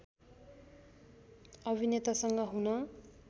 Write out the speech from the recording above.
अभिनेतासँग हुन